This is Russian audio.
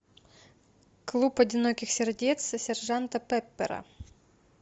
клуб одиноких сердец сержанта пеппера